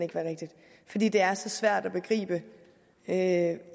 fordi det er så svært at begribe at